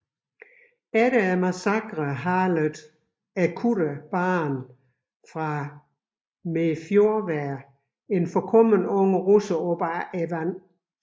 Efter massakren halede kutteren Baren fra Mefjordvær en forkommen ung russer op af vandet